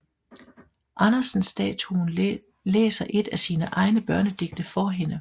Andersen statuen læser et af sine egne børnedigte for hende